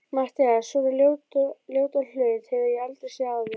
MATTHÍAS: Svona ljótan hlut hef ég aldrei séð áður.